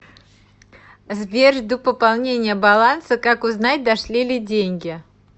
сбер жду пополнения баланса как узнать дошли ли деньги